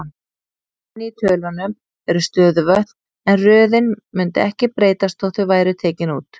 Inni í tölunum eru stöðuvötn, en röðin mundi ekki breytast þótt þau væru tekin út.